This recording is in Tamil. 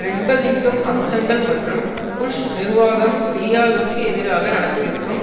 நிர்பந்திக்கும் அம்சங்களும் மற்றும் புஷ் நிர்வாகம் சிரியாவிற்கு எதிராக நடத்திற்கும்